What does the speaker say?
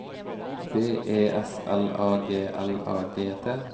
B E S L A G L A G T